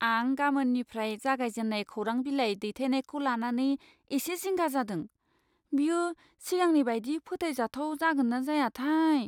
आं गामोननिफ्राय जागायजेन्नाय खौरांबिलाइ दैथायनायखौ लानानै एसे जिंगा जादों। बेयो सिगांनि बायदि फोथायजाथाव जागोन ना जायाथाय?